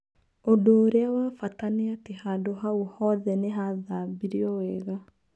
ũndũũrĩa wa bata nĩ atĩ hau hothe nihathambirio wega.